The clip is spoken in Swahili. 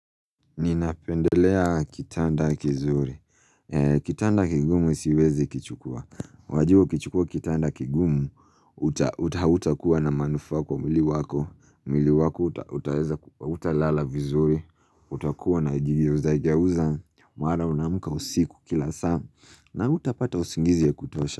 Ninapendelea kitanda kizuri. Kitanda kigumu siwezi kichukua. Wajiuo ukichukua kitanda kigumu, uta hautakuwa na manufaa kwa mwili.mwili wako, uta huta lala vizuri, utakuwa na jigeuza geuza, mara unamka usiku kila saa, na hutapata usingizi ya kutosha.